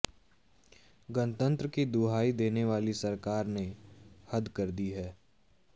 गणतंत्र की दुहाई देनेवाली सरकार ने हद कर दी है